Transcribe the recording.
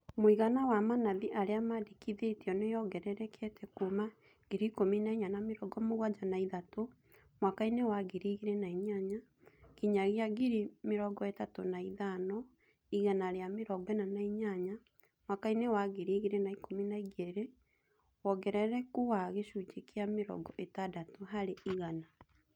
Mũigana wa manathi arĩa mandĩkithĩtio nĩyongererekete kuuma 14073 mwaka inĩ wa 2008 nginyagia 35148 mwaka inĩ wa 2012 wongerereku wa gĩcunjĩ kĩa mĩrongo ĩtandatũ harĩ igana